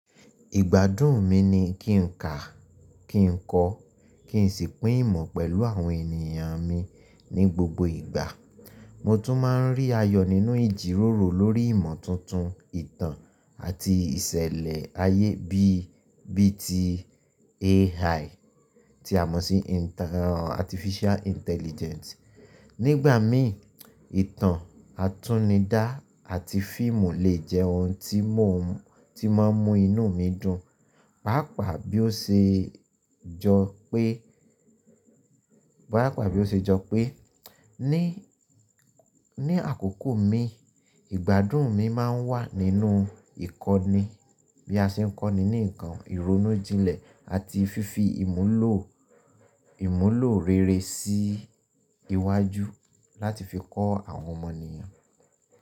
Ìgbádùn mi ni kí n kà, kí n kọ́, kí n sì pín ìmọ̀ pẹ̀lú àwọn ènìyàn mi ní gbogbo ìgbà. Mo tún máa ń rí ayọ̀ nínú ìjíròrò lórí ìmọ̀ tuntun, ìtàn àti ìṣẹ̀lẹ̀ ayé bí i bí i ti AI tí a mọ̀ sí Artificial Intelligence. Nígbà mi, ìtàn, àtúnidá àti fíìmù lè jẹ́ ohun tí mọ̀, tí máa ń mú inú mi dùn. Páápàá bí ó ṣe jọ pé, ní àkókò mi, ìgbádùn mi máa ń wà nínú ìkọ́ni bí a ṣe ń kọ́ni ní ǹkan, ìronújinlẹ̀ àti fífi ìmúlò, ìmúlò rere sí iwájú láti fi kọ́ àwọn ọmọ ènìyàn.